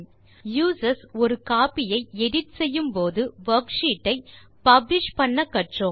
users ஒரு copy ஐ edit செய்யும்படி வர்க்ஷீட் ஐ பப்ளிஷ் செய்ய கற்றோம்